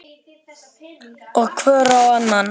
Og hvor á annan.